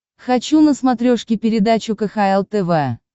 хочу на смотрешке передачу кхл тв